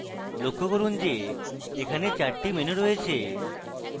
লক্ষ্য করুন যে এখানে চারটি menus রয়েছে